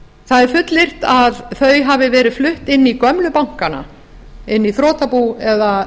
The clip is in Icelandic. það er fullyrt að þau hafi verið flutt inn í gömlu bankana inn í þrotabú eða